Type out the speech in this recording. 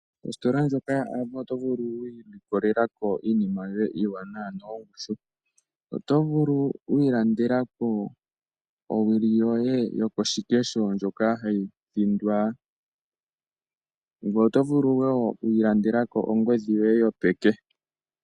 Ositola ndjono yoAvo oto vulu okwiilikolela iinima yoye iiwanawa noyongushu. Oto vulu wiilandelako owili yoye yokoshikesho ndjoka hayi thindwa . Ngoye oto vulu wo wiilandelako ongodhi yoye yopeke.